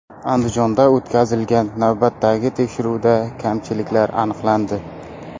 Andijonda o‘tkazilgan navbatdagi tekshiruvda kamchiliklar aniqlandi.